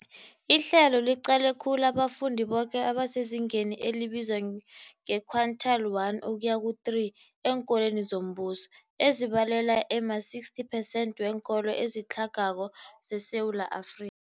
Ihlelo liqale khulu abafundi boke abasezingeni elibizwa nge-quintile 1-3 eenkolweni zombuso, ezibalelwa ema-60 percent weenkolo ezitlhagako zeSewula Afri